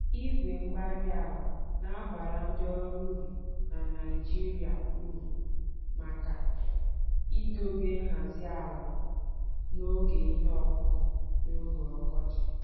Igwe-mgbárí-ala nabara ndị ọrụ ubi na Nigeria uru maka idobe nhazi ala n'oge ihe ọkụkụ n'oge ọkọchị